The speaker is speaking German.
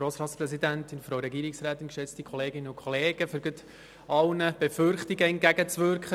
Um gleich allen Befürchtungen entgegenzuwirken: